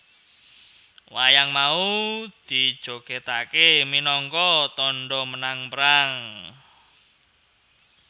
Wayang mau dijogetakke minangka tandha menang perang